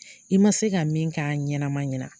I ma se ka min k'a ɲanama ɲana